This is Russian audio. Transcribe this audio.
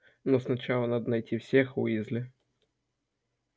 но сначала надо найти всех уизли